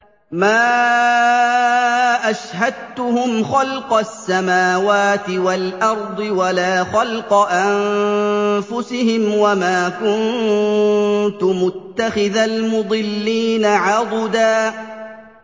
۞ مَّا أَشْهَدتُّهُمْ خَلْقَ السَّمَاوَاتِ وَالْأَرْضِ وَلَا خَلْقَ أَنفُسِهِمْ وَمَا كُنتُ مُتَّخِذَ الْمُضِلِّينَ عَضُدًا